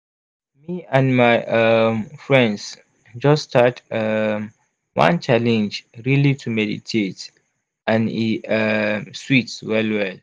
me and my um friends just start um one challenge really to meditate and e um sweet well well.